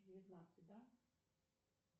девятнадцать да